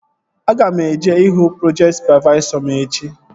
Aga m eje ihu projekti sụpavaisọ m echi